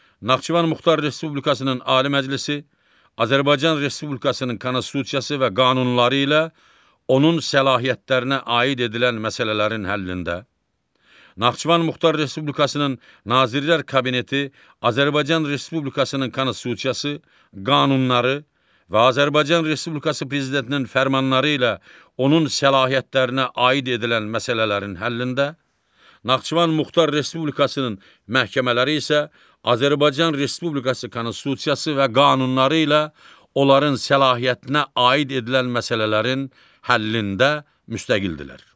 Naxçıvan Muxtar Respublikasının Ali Məclisi Azərbaycan Respublikasının Konstitusiyası və qanunları ilə, onun səlahiyyətlərinə aid edilən məsələlərin həllində, Naxçıvan Muxtar Respublikasının Nazirlər Kabineti Azərbaycan Respublikasının Konstitusiyası, qanunları və Azərbaycan Respublikası Prezidentinin fərmanları ilə onun səlahiyyətlərinə aid edilən məsələlərin həllində, Naxçıvan Muxtar Respublikasının məhkəmələri isə Azərbaycan Respublikası Konstitusiyası və qanunları ilə onların səlahiyyətinə aid edilən məsələlərin həllində müstəqildirlər.